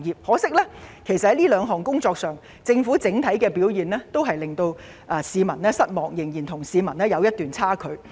可惜，在這兩項工作上，政府的整體表現令市民失望，與市民的期望仍有差距。